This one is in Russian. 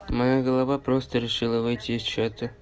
моя голова просто решила выйти из чата